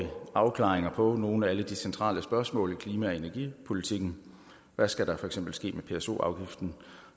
afklaringer på nogle af alle de centrale spørgsmål vedrørende klima og energipolitikken hvad skal der for eksempel ske med pso afgiften